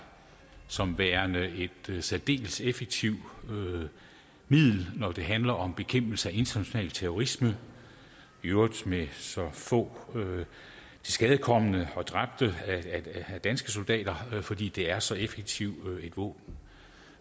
som værende et særdeles effektivt middel når det handler om bekæmpelse af international terrorisme i øvrigt med så få tilskadekomne og dræbte danske soldater fordi det er så effektivt et våben